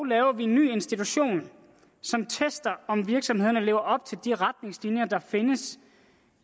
laver vi en ny institution som tester om virksomhederne lever op til de retningslinjer der findes